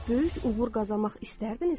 Böyük uğur qazanmaq istərdinizmi?